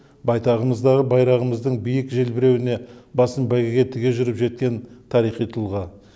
байтағымыздағы байрағымыздың биік желбіреуіне басын бәйгеге тіге жүріп жеткен тарихи тұлға